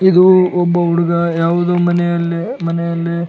ಇದು ಒಬ್ಬ ಹುಡುಗ ಯಾವುದೊ ಮನೆ ಅಲ್ಲಿ ಮನೆ ಅಲ್ಲಿ --